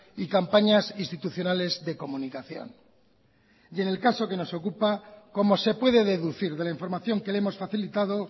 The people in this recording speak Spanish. y campañas institucionales de comunicación y en el caso que nos ocupa como se puede deducir de la información que le hemos facilitado